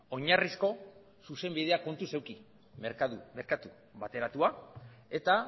oinarrizko zuzenbidea kontuz eduki merkatu bateratua eta